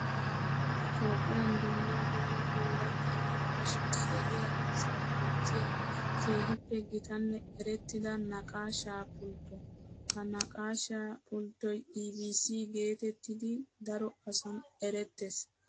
Toophphiyan dumma dumma oorata naqaasha deriya asawu aattiya keehippe gitanne erettidda naqaasha pultto. Ha naqaasha pulttoy EBC geetettiddi daro asan erettees.